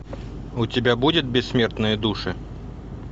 у тебя будет бессмертные души